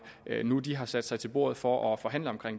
nu hvor de har sat sig til bordet for at forhandle om